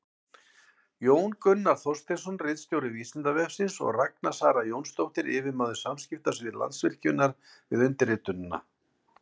Jón Gunnar Þorsteinsson, ritstjóri Vísindavefsins, og Ragna Sara Jónsdóttir, yfirmaður samskiptasviðs Landsvirkjunar, við undirritunina.